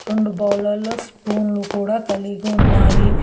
రొండు బౌలర్లో స్పూన్లు కూడా కలిగి ఉన్నాయి.